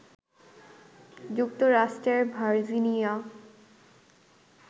যুক্তরাষ্ট্রের ভার্জিনিয়া